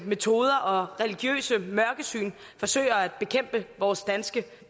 metoder og religiøst mørkesyn forsøger at bekæmpe vores danske